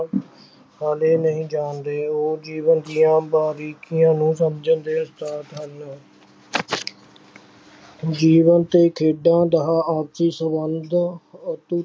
ਹਾਲੇ ਨਹੀਂ ਜਾਣਦੇ, ਉਹ ਜੀਵਨ ਦੀਆਂ ਬਾਰੀਕੀਆਂ ਨੂੰ ਸਮਝਣ ਦੇ ਉਸਤਾਦ ਹਨ ਜੀਵਨ ਤੇ ਖੇਡਾਂ ਦਾ ਆਪਸੀ ਸੰਬੰਧ ਅਤੇ